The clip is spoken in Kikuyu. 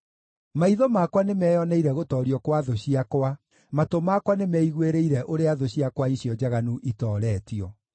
Maitho makwa nĩmeyoneire gũtoorio gwa thũ ciakwa; matũ makwa nĩmeiguĩrĩire ũrĩa thũ ciakwa icio njaganu itooretio.